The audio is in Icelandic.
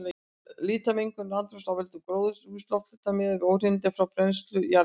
Lítil mengun andrúmslofts af völdum gróðurhúsalofttegunda miðað við óhreinindi frá brennslu jarðefna.